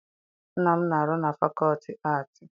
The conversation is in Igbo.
Nna m na-arụ na fakọlti aatị.